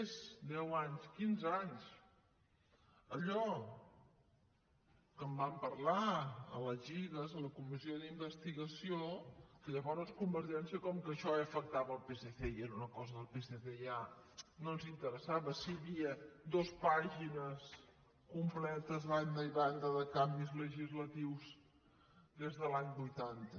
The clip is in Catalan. més de deu anys quinze anys allò que vam parlar a la cigas a la comissió d’investigació que llavors convergència com que això afectava el psc i era una cosa del psc ja no els interessava si hi havia dues pàgines completes a banda i banda de canvis legislatius des de l’any vuitanta